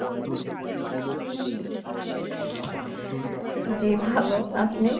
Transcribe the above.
জি ভালো আপনি